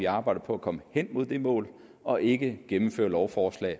arbejde på at komme hen mod det mål og ikke gennemføre lovforslag